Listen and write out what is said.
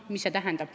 Mida see tähendab?